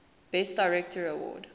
best director award